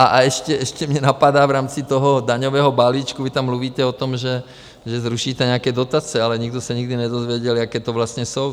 A ještě mě napadá v rámci toho daňového balíčku, vy tam mluvíte o tom, že zrušíte nějaké dotace, ale nikdo se nikdy nedozvěděl, jaké to vlastně jsou.